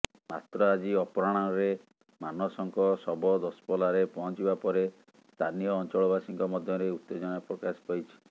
ମାତ୍ର ଆଜି ଅପରାହ୍ଣରେ ମାନସଙ୍କ ଶବ ଦଶପଲ୍ଲାରେ ପହଞ୍ଚିବା ପରେ ସ୍ଥାନୀୟ ଅଂଚଳବାସୀଙ୍କ ମଧ୍ୟରେ ଉତ୍ତେଜନା ପ୍ରକାଶ ପାଇଛି